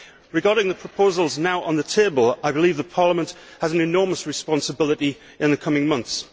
Regarding the proposals now on the table, I believe that Parliament has an enormous responsibility in the coming months.